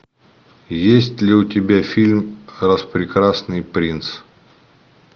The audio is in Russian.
есть ли у тебя фильм распрекрасный принц